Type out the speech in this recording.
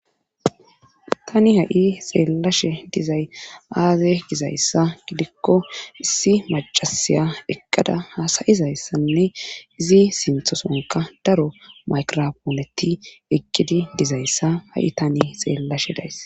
tani ha7i xeellashe dizay aaze gizayssa gidikko issi macasiya eqqada hasayizayssanne izi sinthosonka daro maykrapooleti ekkidi dizayssa ha7i tani xeellashe days